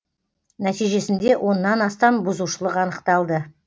нәтижесінде оннан астам бұзушылық анықталды